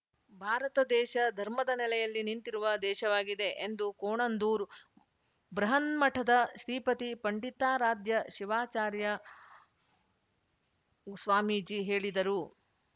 ಭಾರತ ದೇಶ ಧರ್ಮದ ನೆಲೆಯಲ್ಲಿ ನಿಂತಿರುವ ದೇಶವಾಗಿದೆ ಎಂದು ಕೋಣಂದೂರ್ ಬೃಹನ್ಮಠದ ಶ್ರೀಪತಿ ಪಂಡಿತಾರಾಧ್ಯ ಶಿವಾರ್ಚಾಯ ಸ್ವಾಮೀಜಿ ಹೇಳಿದರು